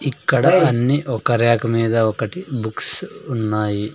ఇక్కడ అన్నీ ఒక రేఖ మీద ఒకటి బుక్స్ ఉన్నాయి.